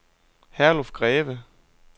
Herluf Greve